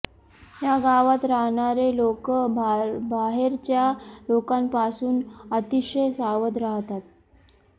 या गावात राहणारे लोकं बाहेरच्या लोकांपासून अतिशय सावध राहतात